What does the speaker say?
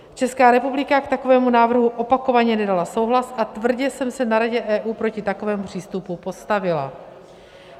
Česká republika k takovému návrhu opakovaně nedala souhlas a tvrdě jsem se na Radě EU proti takovému přístupu postavila.